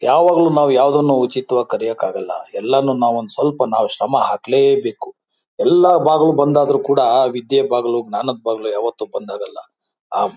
ಯಾವಾಗ್ಲೂ ನಾವು ಯಾವದನ್ನು ಉಚಿತವಾಗಿ ಕಲಿಯೋಕಾಗಲ್ಲಎಲ್ಲಾನು ಸ್ವಲ್ಪ ನಾವ್ ಶ್ರಮ ಹಾಕ್ಲೆ ಬೇಕು ಎಲ್ಲ ಬಾಗಿಲು ಬಂದ್ ಆದ್ರೂ ಕೂಡ ವಿದ್ಯೆ ಬಾಗಿಲು ಜ್ಞಾನದ ಬಾಗಿಲು ಯಾವತ್ತು ಬಂದ್ ಆಗಲ್ಲ ಆ--